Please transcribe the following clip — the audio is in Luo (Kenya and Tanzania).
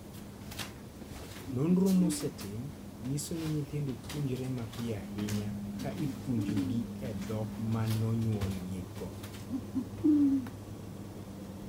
Nonro mosetim nyiso ni nyithindo puonjore mapiyo ahinya ka ipuonjogi e dhok ma nonyuolgigo.